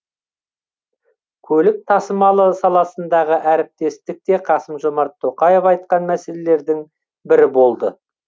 көлік тасымалы саласындағы әріптестік те қасым жомарт тоқаев айтқан мәселелердің бірі болды